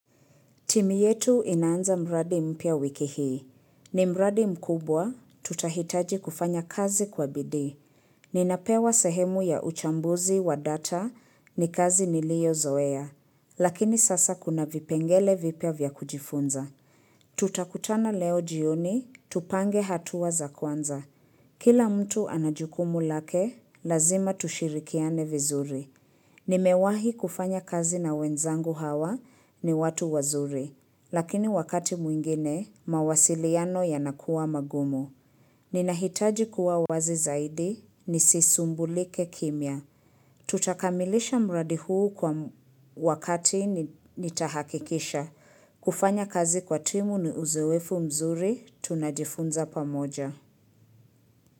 Timu yetu inaanza mradi mpya wiki hii. Ni mradi mkubwa, tutahitaji kufanya kazi kwa bidii. Ninapewa sehemu ya uchambuzi wa data ni kazi niliyo zoea. Lakini sasa kuna vipengele vipya vya kujifunza. Tutakutana leo jioni, tupange hatuwa za kwanza. Kila mtu anajukumu lake, lazima tushirikiane vizuri. Nimewahi kufanya kazi na wenzangu hawa ni watu wazuri. Lakini wakati mwingine, mawasiliano yanakuwa magumu. Ninahitaji kuwa wazi zaidi, nisisumbulike kimya. Tutakamilisha mradi huu kwa wakati nitahakikisha. Kufanya kazi kwa timu ni uzoefu mzuri, tunajifunza pamoja.